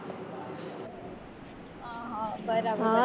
બરાબર